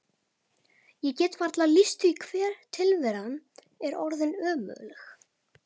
Ég get varla lýst því hve tilveran er orðin ömurleg.